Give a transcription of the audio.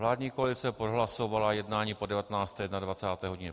Vládní koalice prohlasovala jednání po 19. i 21. hodině.